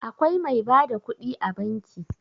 Akwai mai ba da kuɗi a banki.